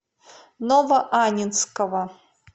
новоаннинского